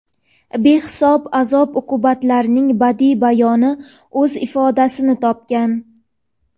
behisob azob-uqubatlarining badiiy bayoni o‘z ifodasini topgan.